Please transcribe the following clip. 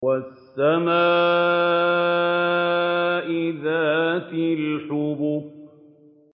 وَالسَّمَاءِ ذَاتِ الْحُبُكِ